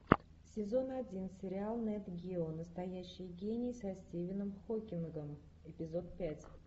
сезон один сериал нет гео настоящий гений со стивеном хокингом эпизод пять